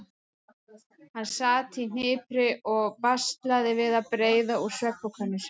Hann sat í hnipri og baslaði við að breiða úr svefnpokanum sínum.